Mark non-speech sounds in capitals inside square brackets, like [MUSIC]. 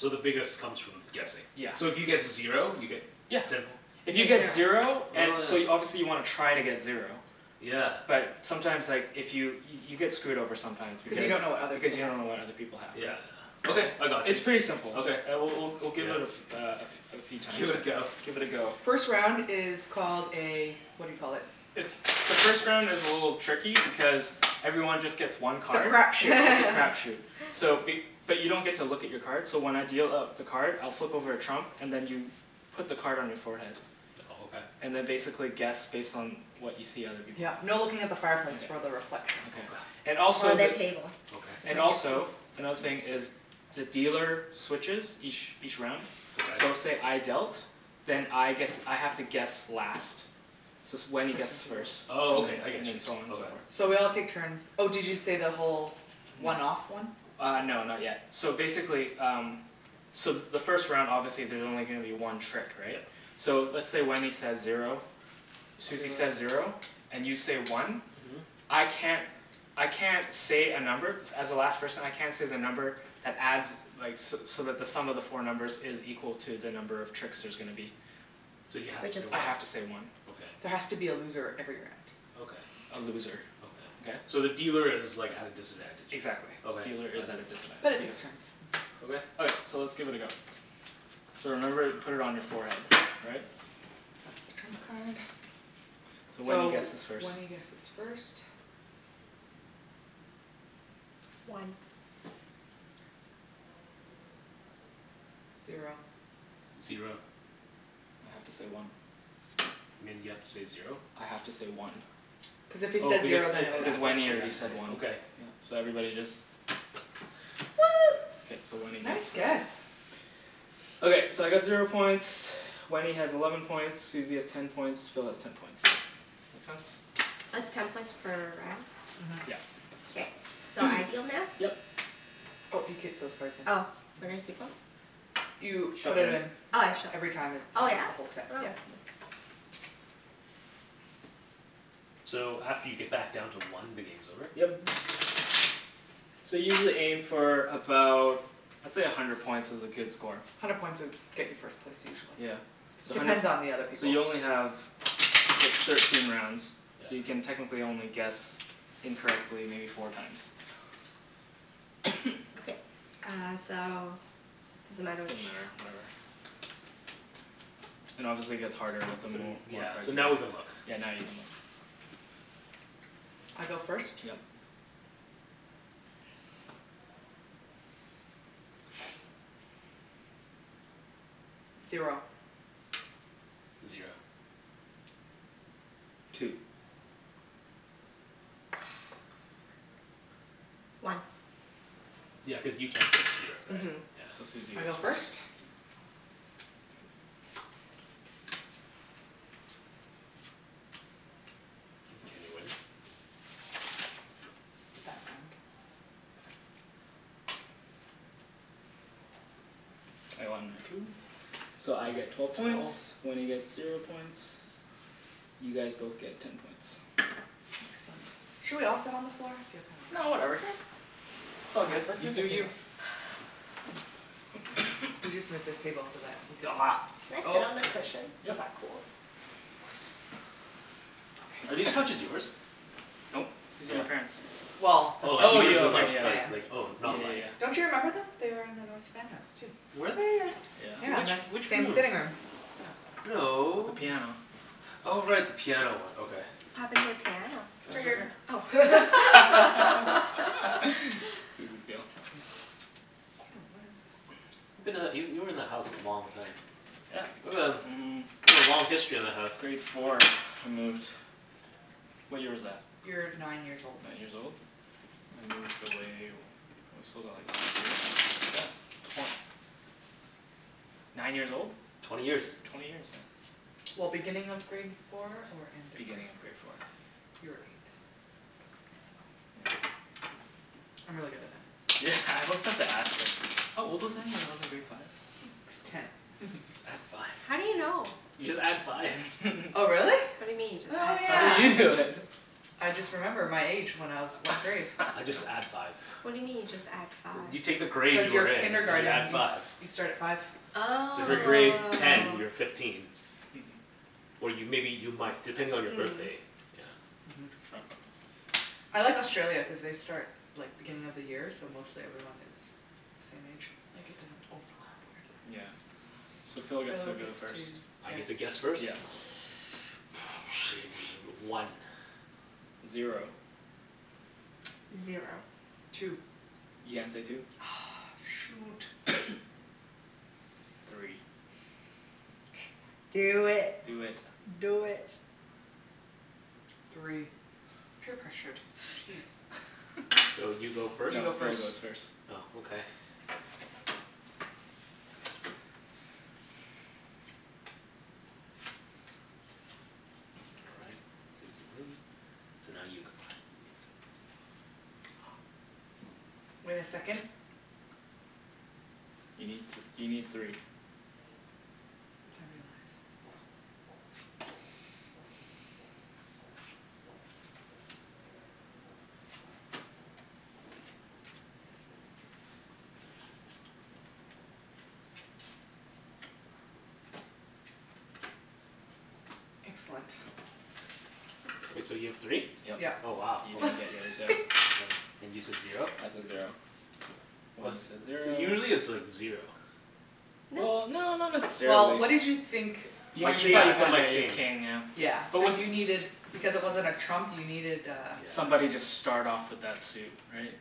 So the biggest comes from guessing. Yeah. So if you get zero you get Yeah. Ten poi If you get zero Oh So you, yeah. obviously you wanna try to get zero. Yeah. But sometimes like, if you, you get screwed over sometimes Cu you because don't know what other Because people you have don't know what other people have, Yeah, right? yeah. Okay, I got you. It's pretty simple. Okay. All right, we'll we'll we'll give it a fe- uh a f- uh a few times. Give it a go. Give it a go. First round is called a what do you call it. The first round is a little tricky because everyone just gets one It's a card. crap shoot. It's a crap [LAUGHS] shoot. So be- but you don't get to look at your card, so when I deal out the card, I'll flip over a trump and then you put the card on your forehead. Oh okay. And then basically guess based on what you see other people have. Yep, no looking at the fireplace for the reflection. Okay. And Or also the the- table. Okay. And also, another thing is the dealer switches each each round. So Okay. say I dealt, then I get to, I have to guess last. So it's, Wenny guesses first. Oh okay, I And get then, you. and so on and so forth. So we all take turns. Oh did you say the whole one off one? Uh no, not yet. So basically um, so the first round obviously there's only gonna be one trick, right? Yep. So let's say Wenny says zero, Susie says zero, and you say one. Mhm. I can't, I can't say a number, as the last person I can't say the number that adds like so so that the sum of the four numbers is equal to the number of tricks there's gonna be. So you have to say I one. have to say one. There Okay. has to be a loser every round. Okay. A loser. Okay? Okay. So the dealer is like at a disadvantage. Exactly. Okay. Dealer is at a But it disadvantage. takes turns. [INAUDIBLE] Okay. Okay, so let's give it a go. So remember put it on your forehead, all right? That's the trump card. So Wenny So guesses first. Wenny guesses first. One. Zero. Zero. I have to say one. You mean you have to say zero? I have to say one. Cuz if he Oh says because zero then it, it Because [INAUDIBLE] adds Wenny one. already up to said [INAUDIBLE] one. okay. Yeah, so everybody just One! K, so Wenny Nice gets guess! [INAUDIBLE] Okay, so I got zero points, Wenny has eleven points, Susie has ten points, Phil has ten points. Makes sense? It's ten points per round? Mhm. Yep. Okay. So I deal now? Yep. Oh you keep those cards in, Oh where do I mhm. keep em? You put it Shuffle'em. in. Oh I shuff- Every time it's oh from yeah? the whole set, yeah. So after you get back down to one, the game's over? Yep. So usually aim for about, let's say a hundred points is a good score. Hundred points would get you first place usually. Yeah. So hundred Depends p- on the other So people you only have thir- thirteen rounds So you can Yeah. technically only guess incorrectly maybe four times. Okay. Uh so does it matter which Doesn't matter, whatever. And obviously gets harder with the more, Yeah, more cards so you now we can look. get. Yeah, now you can look I go first? Yep. Zero. Zero. Two. One. Yeah, cuz you can't say zero, right? Mhm So Susie I go goes first? first Kenny wins? I won my two. So I get twelve points, Wenny gets zero points, you guys both get ten points. Excellent. Should we all sit on the floor? No whatever, it's all good. You do you. We'll just move this table so that we could Can I sit on the cushion? Yep Is that cool? Are these couches yours? Nope, these are my parents'. Well, they're Oh like Oh from yours yeah are ok North like yeah. like Van. like oh Yeah not like yeah yeah. Don't you remember them? They are in the North Van house too. Were they? Yeah, Which, and the Yeah. which same room? sitting room. Yeah. With No. the piano. Oh right. The piano one, okay. What happened to the piano? It's It's right right over Oh here. here. [LAUGHS] [LAUGHS] Susie's deal. Oh what is this. You've been that, you, you were in that house for a long time. Yeah, mm. You've got a long history in that house. Grade four, I moved. What year was that? You were nine Nine years years old. old? I moved away, we sold it like last year? Yeah. Twen- nine years old? Twenty years. Twenty years, yeah. Well, beginning of grade four or end of grade Beginning of four? grade four. You were eight. Yeah. I'm really good at that. Yeah, I always have to ask her. How old was I? When I was in grade five? Ten. [LAUGHS] Just add five. How do you know? You just add five. Oh [LAUGHS] really? What do you mean, Oh just oh add How yeah. you five? do know then? I just remember my age when I was what grade I just add [LAUGHS] five. What do you mean you just add five? You take the grade Cuz your you're in, and you add kindergarten you s- five. you start at five So if you're grade Oh. ten, you're fifteen. Or you, maybe you might, depending on your Mm. birthday. Trump. I like Australia cuz they start like, beginning of the year so mostly everyone has the same age. Like it doesn't overlap weirdly. Yeah, so Phil gets to go first. I get to guess first? Yeah. One Zero Zero Two You can't say two. Ugh shoot! Three. Do it. Do it. Do it. Three. Peer pressured, geez. So you go first? You No, go Phil first goes first. Oh okay. All right, Susie win, so now you go. Wait a second. You need th- you need three. Excellent. K, so you have three? Yep. Yep. Oh wow. You're gonna get yours now. And you said zero? I said zero. Wenny said So zero usually it's like zero. Well, no not Well, necessarily what did you think My [INAUDIBLE] king, I that thought one. my king. Yeah. So you needed, because it wasn't a trump you needed uh Somebody just start off with that suit, right?